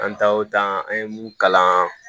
An taa o taa an ye mun kalan